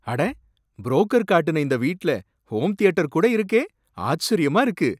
அட! புரோக்கர் காட்டுன இந்த வீட்ல ஹோம் தியேட்டர் கூட இருக்கே! ஆச்சரியமா இருக்கு.